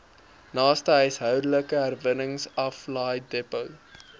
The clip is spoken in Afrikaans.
naaste huishoudelike herwinningsaflaaidepot